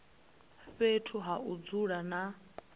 fhethu ha u dzula na